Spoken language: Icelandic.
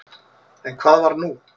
En hvað var nú?